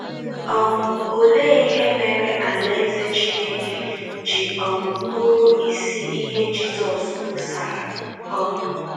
um Olee ihe mere Alaeze Chineke ji um bụrụ isi ihe Jizọs kwusara? um